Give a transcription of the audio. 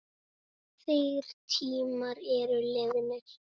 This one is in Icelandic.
Þeir tímar eru liðnir.